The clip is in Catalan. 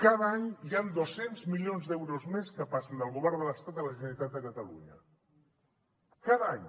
cada any hi han dos cents milions d’euros més que passen del govern de l’estat a la generalitat de catalunya cada any